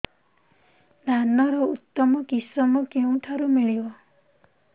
ଧାନର ଉତ୍ତମ କିଶମ କେଉଁଠାରୁ ମିଳିବ